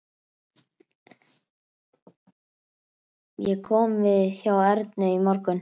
Ég kom við hjá Ernu í morgun.